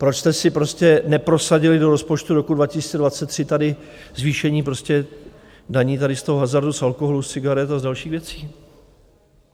Proč jste si prostě neprosadili do rozpočtu roku 2023 tady zvýšení prostě daní tady z toho hazardu, z alkoholu, z cigaret a z dalších věcí.